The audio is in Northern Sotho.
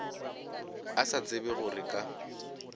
a sa tsebe gore ka